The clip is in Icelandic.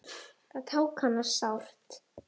Það tók hana sárt.